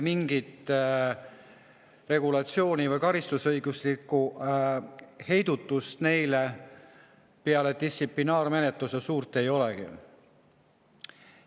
Mingit regulatsiooni või karistusõiguslikku heidutust neile peale distsiplinaarmenetluse suurt ei olegi.